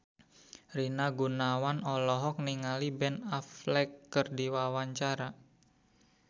Rina Gunawan olohok ningali Ben Affleck keur diwawancara